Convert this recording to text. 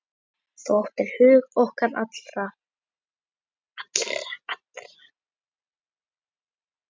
Þú áttir hug okkar allra.